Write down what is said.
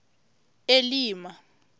elima